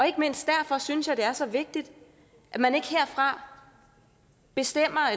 ikke mindst derfor synes jeg det er så vigtigt at man ikke herfra bestemmer